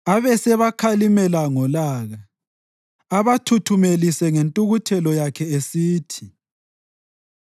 Abesebakhalimela ngolaka, abathuthumelise ngentukuthelo yakhe, esithi,